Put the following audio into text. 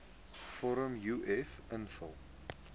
vorm uf invul